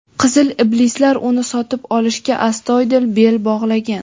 "Qizil iblislar" uni sotib olishga astoydil bel bog‘lagan;.